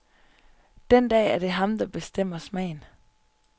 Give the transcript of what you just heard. Den dag er det ham, der bestemmer smagen.